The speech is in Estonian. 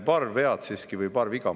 Paar viga ma siiski parandan ära.